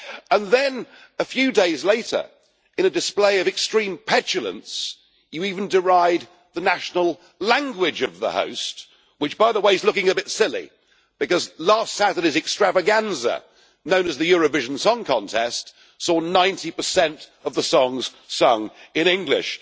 And then a few days later, in a display of extreme petulance, you even deride the national language of the host which, by the way, is looking a bit silly, because last Saturday's extravaganza known as the Eurovision Song Contest saw 90 of the songs sung in English.